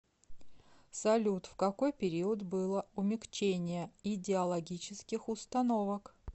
салют в какой период было умягчение идеологических установок